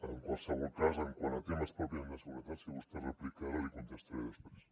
en qualsevol cas quant a temes pròpiament de seguretat si vostès replica ara li contestaré després